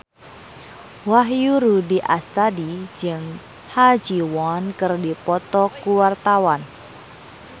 Wahyu Rudi Astadi jeung Ha Ji Won keur dipoto ku wartawan